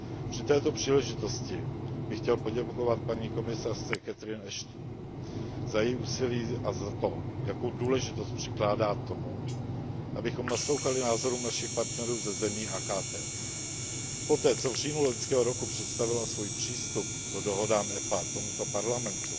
Při této příležitosti bych chtěl poděkovat paní komisařce Catherine Ashton za její úsilí a za to, jakou důležitost přikládá tomu, abychom naslouchali názorům našich partnerů ze zemí AKT. Poté, co v říjnu loňského roku představila svůj přístup k dohodám EPA tomuto Parlamentu